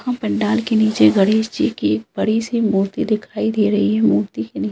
यहाँ पंडाल के नीचे गणेश जी की एक बड़ी सी मूर्ति दिखाई दे रही है मूर्ति के नी --